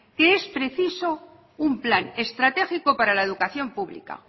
que es preciso un plan estratégico para la educación pública